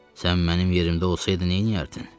Sən mənim yerimdə olsaydın, nə eləyərdin?